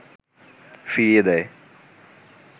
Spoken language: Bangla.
ফিরিয়ে দেয়